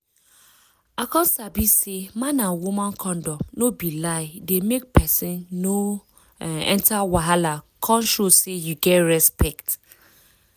i come sabi say man and woman condom no be lie dey make person no um enter wahala come show say you get respect